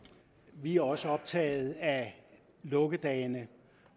vi er også optaget af lukkedagene